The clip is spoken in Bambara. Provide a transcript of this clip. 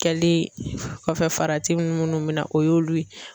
Kɛlen kɔfɛ farati minnu bɛ na o y'olu ye.